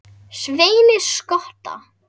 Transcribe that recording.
Sveini skotta.